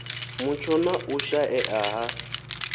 mutsho na u shaea ha